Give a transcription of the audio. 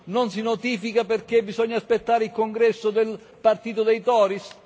Non si notifica perché bisogna aspettare il congresso del partito dei Tories